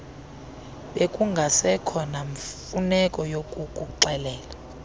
bekungasekho namfuneko yakukuxelela